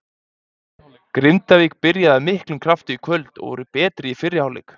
Grindavík byrjaði af miklum krafti í kvöld og voru betri í fyrri hálfleik.